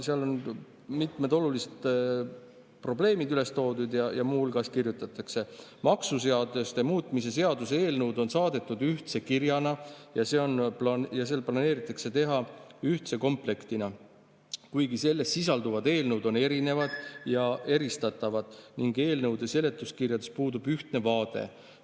Seal on toodud mitmed olulised probleemid ja muu hulgas kirjutatakse: "Maksuseaduste muutmise seaduse eelnõud on saadetud ühtse kirjana ja see planeeritakse teha ühtse komplektina, kuigi selles sisalduvad eelnõud on erinevad ja eristatavad ning eelnõude seletuskirjades puudub ühtne vaade.